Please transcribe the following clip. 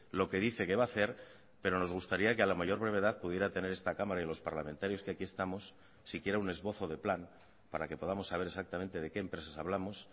lo que dice que va ha hacer pero nos gustaría que a la mayor brevedad pudiera tener esta cámara y los parlamentarios que aquí estamos siquiera un esbozo de plan para que podamos saber exactamente de qué empresas hablamos